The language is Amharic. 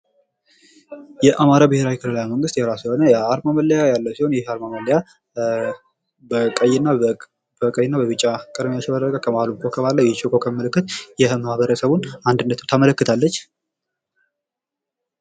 የአማራ ብሔራዊ ክልላዊ መንግስት የራሱ የሆነ የአርማ ያለው ሲሆን ይህ የአርማ መለያ በቀይና በቢጫ ከመካከሉ ኮከብ አለው። ይህ የኮከብ ምልክት የማህበረሰቡን እኩልነት ታመለከታለች።